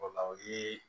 O la o ye